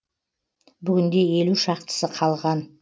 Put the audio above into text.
бүгінде елу шақтысы қалған